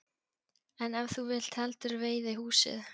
En ef þú vilt heldur veiðihúsið?